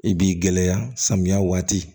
I b'i gɛlɛya samiya waati